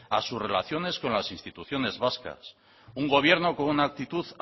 a sus relaciones con las instituciones vascas un gobierno con una actitud